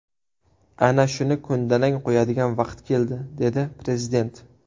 Ana shuni ko‘ndalang qo‘yadigan vaqt keldi”, dedi Prezident.